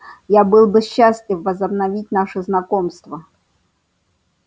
я был бы счастлив возобновить наше знакомство